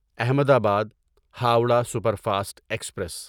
احمد آباد Howrah super fast express